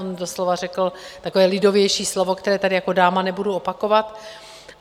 On doslova řekl takové lidovější slovo, které tady jako dáma nebudu opakovat.